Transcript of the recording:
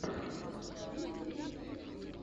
установи стримы пинк вево